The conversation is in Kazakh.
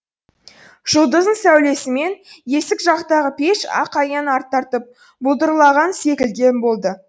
жұлдыздың сәулесімен есік жақтағы пеш ақ аяң тартып бұлдырланған секілді болды